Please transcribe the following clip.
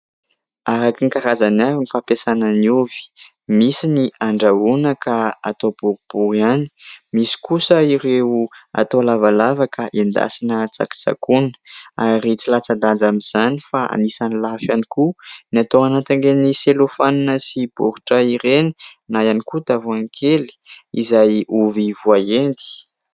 Araka ny karazany avy ny fampiasana ny ovy misy ny andrahoana ka atao boribory ihany. Misy kosa ireo atao lavalava ka endasina tsakotsakoana ary tsy latsa-danja amin'izany fa anisan'ny lafo ihany koa ny atao anatin'ireny selofanina sy boritra ireny na ihany koa tavoahangy kely izay ovy voaendy.